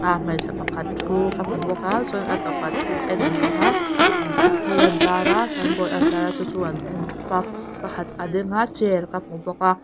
a hmeichhe pakhat thu ka hmu bawka chuan a tawpah thil en an awma imm thil a intar a signboard a intara chu chu an en thup a pakhat a dinga chair ka hmu bawk a.